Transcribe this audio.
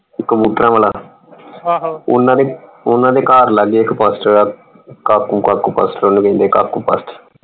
ਕਬੂਤਰਾਂ ਵਾਲਾ ਓਹਨਾ ਦੇ ਓਹਨਾ ਦੇ ਘਰ ਲਾਗੇ ਇਕ ਪਾਸਟਰ ਹੈ ਕਾਕੂ ਕਾਕੂ ਪਾਸਟਰ ਓਹਨੂੰ ਕਹਿੰਦੇ ਹੈ ਕਾਕੂ ਪਾਸਟਰ।